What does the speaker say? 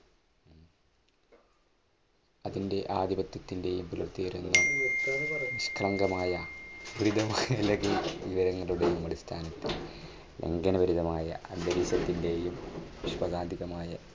അതിൻറെ ആധിപത്യത്തിന്റെയും കളങ്കമായ വിവരങ്ങളുടെയും അടിസ്ഥാനത്തിൽ അന്തരീക്ഷത്തിന്റെയും